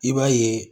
I b'a ye